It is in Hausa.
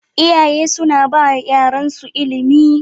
Iyaye suna bawa yaran su ilimi